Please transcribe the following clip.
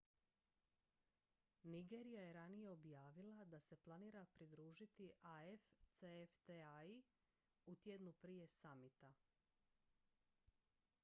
nigerija je ranije objavila da se planira pridružiti afcfta-i u tjednu prije samita